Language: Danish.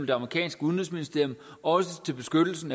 det amerikanske udenrigsministerium også til beskyttelse af